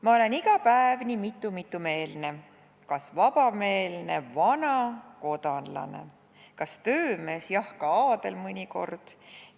"Ma olen iga päev nii mitme-mitme-meelne, ka vabameelne, vana-, kodanlane, kas töömees, jah, ka aadel mõnikord.